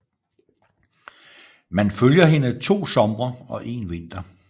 Man følger hende to somre og en vinter